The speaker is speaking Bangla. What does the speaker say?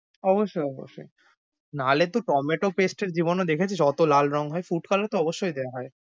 অবশ্যই, অবশ্যই।